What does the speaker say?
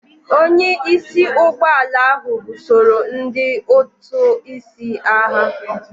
Onye isi ụgbọ ala ahụ busoro ndị ụtụ isi agha.